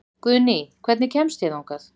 Guðný, hvernig kemst ég þangað?